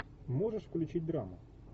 можешь включить драму